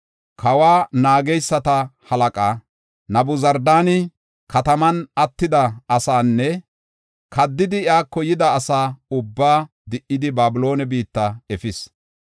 Kawa naageysata halaqay Nabuzardaani kataman attida asaanne kaddidi iyako yida asa ubbaa di77idi Babiloone biitta efis.